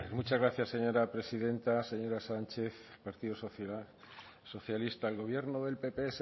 muchas gracias señora presidenta señora sánchez partido socialista el gobierno del pp